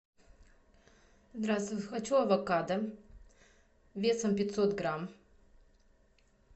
здравствуй хочу авокадо весом пятьсот грамм